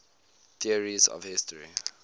theories of history